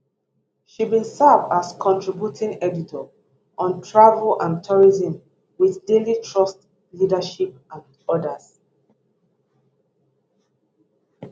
she bin serve as contributing editor on travel and tourism wit daily trust leadership and odas